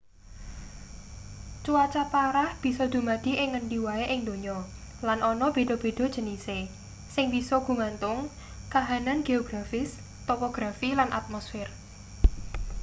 cuaca parah bisa dumadi ing ngendi wae ing donya lan ana beda-beda jenise sing bisa gumantung kahanan geografis topografi lan atmosfer